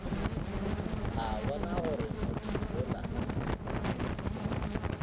a bona gore motho yola